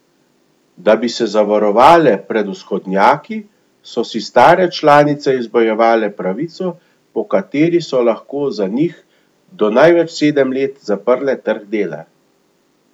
Da bi se zavarovale pred vzhodnjaki, so si stare članice izbojevale pravico, po kateri so lahko za njih do največ sedem let zaprle trg dela.